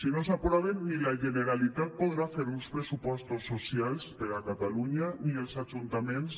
si no s’aproven ni la generalitat podrà fer uns pressupostos socials per a catalunya ni els ajuntaments